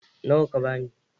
Nawa ka bani?